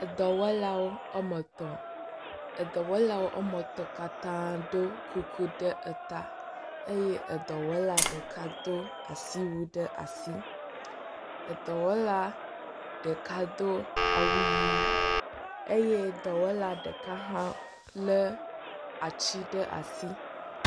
dɔwɔlawo wɔme etɔ̃. Edɔwɔlawo wɔme etɔ̃ katã do kuku ɖe eta eye edɔwɔla ɖeka ɖo asiwui ɖe asi. Edɔwɔla ɖeka do awu ʋi eey dɔwɔla ɖeka hã le atsi ɖe asi.